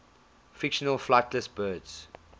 fictional flightless birds